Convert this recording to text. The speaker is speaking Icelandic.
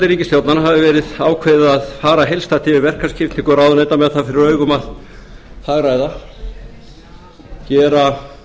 ríkisstjórnar hefði verið ákveðið að fara heildstætt yfir verkaskiptingu ráðuneyta með það fyrir augum að hagræða gera